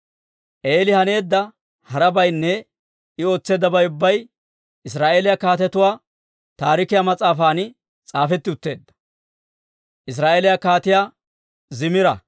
Eeli haneedda harabaynne I ootseeddabay ubbay Israa'eeliyaa Kaatetuu Taarikiyaa mas'aafan s'aafetti utteedda.